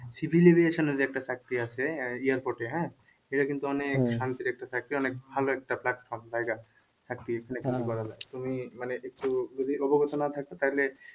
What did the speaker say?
যে একটা চাকরি আছে airport এ হ্যাঁ এটা কিন্তু অনেক শান্তির একটা চাকরি অনেক ভালো একটা platform জায়গা তুমি মানে একটু যদি অবগত না থাকো তাহলে